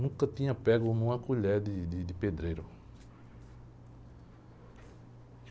Nunca tinha pego uma colher de, de, de pedreiro.